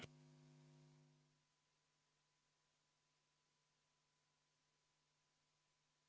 V a h e a e g